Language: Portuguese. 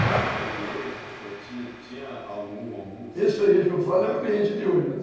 Desse freguês que o senhor tinha, tinha algum, alguns... Esse freguês que eu falo é o cliente de hoje, né?